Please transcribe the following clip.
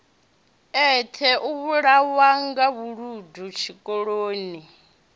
eṱhe u vhulawanga vhuludu zwikoloni